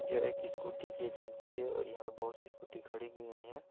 यह एक स्कूटी की एजेंसी हैं और यह पे बहुत सी स्कूटी खड़ी की गई हैं ।